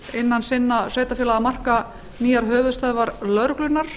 innan innan sveitarfélagamarka nýjar höfuðstöðvar lögreglunnar